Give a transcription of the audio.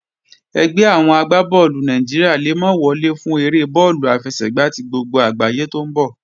Ẹgbẹ́ àwọn agbá bọ́ọ̀lù Nàìjíríà le mọ́ wọlé fún eré bọ́ọ̀lù àfẹsẹ̀gbá tí gbogbo àgbáyé tó ń bọ̀